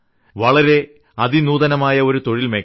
വളരെ അതിനൂതനമായ ഒരു തൊഴിൽമേഖല